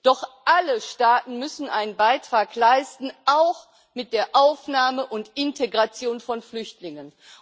Doch alle Staaten müssen einen Beitrag leisten, auch mit der Aufnahme und Integration von Flüchtlingen.